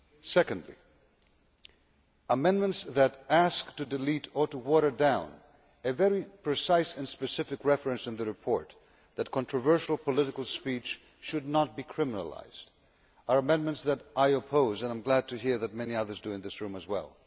Secondly, amendments that delete or water down a very precise and specific reference in the report that controversial political speech should not be criminalised are amendments that I oppose, and I am glad to hear that many others in this room do as well.